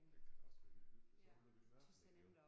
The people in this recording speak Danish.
Det kan da også være helt hyggeligt så blev det mørkt herinde